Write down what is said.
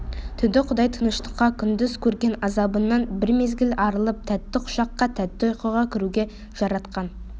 түнді құдай тыныштыққа күндіз көрген азабыңнан бір мезгіл арылып тәтті құшаққа тәтті ұйқыға кіруге жаратқан